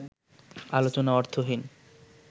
আলোচনা অর্থহীন